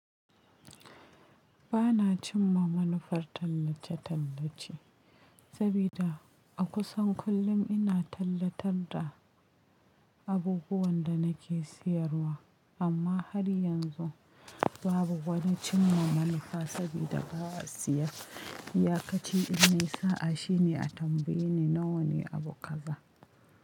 Ba na cimma manufar tallace-tallace, sabida a kusan kullum ina tallatar da abubuwan da nake siyarwa amma har yanzu babu wani cimma manufa sabida ba'a siya. Iya kaci in nayi sa'a shine a tambayi nawa ne abu kaza.